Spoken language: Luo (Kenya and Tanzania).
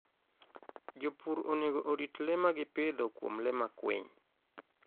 Jopur onego orit le ma gipidho kuom le makwiny.